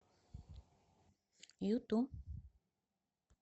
юту